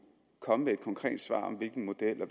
komme med et konkret svar om hvilken model